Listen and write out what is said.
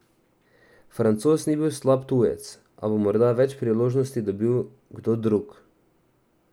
Francoz ni bil slab tujec, a bo morda več priložnosti dobil kdo drug.